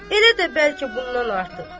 Elə də bəlkə bundan artıq.